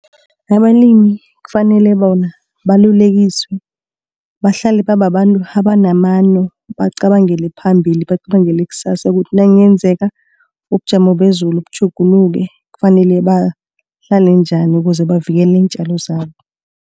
Abalimi kufanele bona balulekekiswe, bahlale bababantu abanamano, bacabangele phambili. Bacabangela ikusasa ukuthi nakungenzeka ubujamo bezulu butjhuguluke kufanele bahlale njani ukuze bavikele iintjalo zabo.